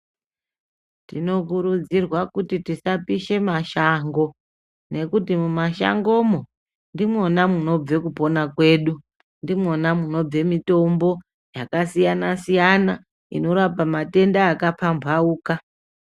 Tinokurudzirwa kuti tisapishe mashango nekuti mumashangomo ndimwona munobva kupona kwedu. Ndimwona munobve mitombo yakasiyana-siyana, inorapa matenda akapambauka.